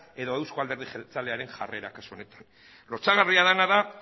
edo euzko alderdi jeltzalearen jarrera kasu honetan lotsagarria dena da